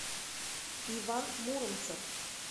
иван муромцев